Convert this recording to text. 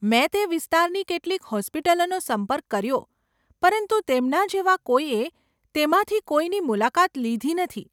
મેં તે વિસ્તારની કેટલીક હોસ્પિટલોનો સંપર્ક કર્યો પરંતુ તેમના જેવા કોઈએ તેમાંથી કોઈની મુલાકાત લીધી નથી.